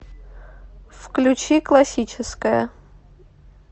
включи классическая